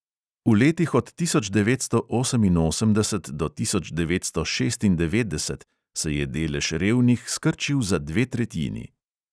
V letih od tisoč devetsto oseminosemdeset do tisoč devetsto šestindevetdeset se je delež revnih skrčil za dve tretjini.